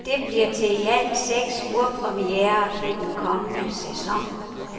Det bliver til i alt seks urpremierer i den kommende sæson.